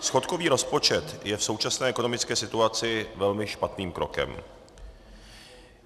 Schodkový rozpočet je v současné ekonomické situaci velmi špatným krokem.